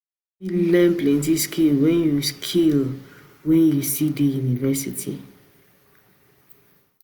You go fit learn plenty skills wen you skills wen you still dey university.